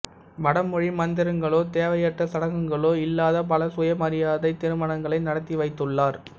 வடமொழி மந்திரங்களோ தேவையற்ற சடங்குகளோ இல்லாத பல சுயமரியாதைத் திருமணங்களை நடத்தி வைத்துள்ளார்